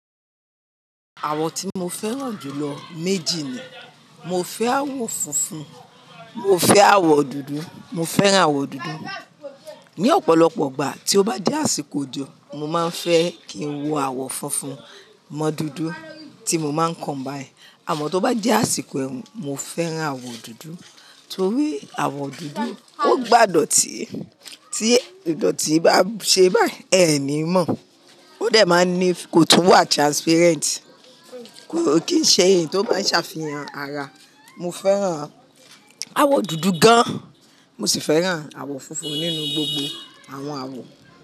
Àwọ̀ tí mo fẹ́ràn jù lọ méjì ni. Mo fẹ́ àwọ̀ funfun, mo fẹ́ àwọ̀ dúdú, mo fẹ́ràn àwọ̀ dúdú. Ni ọ̀pọ̀lọpọ̀ ìgbà tí ó bá dé àsìkò ọjọ́, mo máa ń fẹ́ kí n wo àwọ̀ funfun mọ́ dúdú tí mo máa ń combine. Àmọ́ tí ó bá jẹ́ àsìkò ẹ̀rùn, mo fẹ́ràn àwọ̀ dúdú torí àwọ̀ dúdú ó gbá dọ̀tí. Ti doti bá ṣe báyìí, ẹni mọ̀. Ó dẹ̀ máa ń ní kò tún wà transparent, kò kì ṣe è tó bá ṣàfihàn ara. Mo fẹ́ràn àwọ̀ dúdú gan. Mo sì fẹ́ràn àwọ̀ funfun nínú gbogbo àwọn àwọ̀